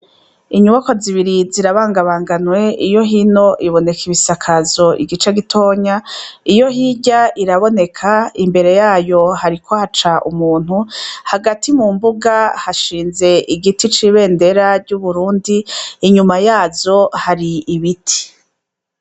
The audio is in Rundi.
Inyubako zibiri zirabangabanganwe iyo hino iboneka ibisakazo igice gitonya iyo hirya iraboneka imbere yayo hariko haca umuntu hagati mu mbuga hashinze igiti c'ibendera ry'uburundi inyuma yazo hari ibiti.